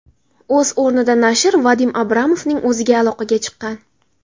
O‘z o‘rnida nashr Vadim Abramovning o‘ziga aloqaga chiqqan.